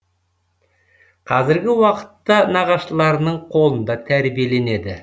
қазіргі уақытта нағашыларының қолында тәрбиеленеді